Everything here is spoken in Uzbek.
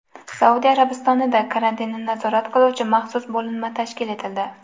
Saudiya Arabistonida karantinni nazorat qiluvchi maxsus bo‘linma tashkil etildi.